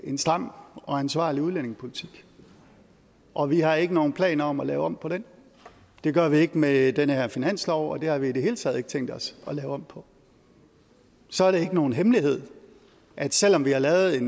en stram og ansvarlig udlændingepolitik og vi har ikke nogen planer om at lave om på den det gør vi ikke med den her finanslov og det har vi i det hele taget ikke tænkt os at lave om på og så er det ikke nogen hemmelighed at selv om vi har lavet